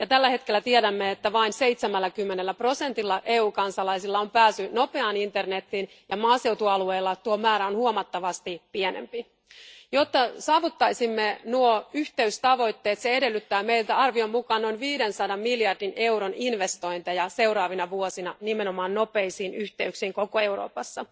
Tällä hetkellä tiedämme, että vain 70 prosentilla EUn kansalaisista on pääsy nopeaan internetiin ja että maaseutualueilla tuo määrä on huomattavasti pienempi. Jotta saavuttaisimme nuo yhteistavoitteet, se edellyttää meiltä arvion mukaan noin 500 miljardin euron investointeja seuraavina vuosina nimenomaan nopeisiin yhteyksiin koko Euroopassa.